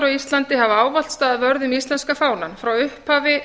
íslandi hafa ávallt staðið vörð um íslenska fánann frá upphafi